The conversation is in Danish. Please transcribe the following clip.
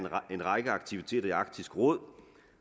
en række aktiviteter i arktisk råd